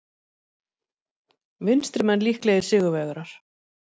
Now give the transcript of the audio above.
Vinstrimenn líklegir sigurvegarar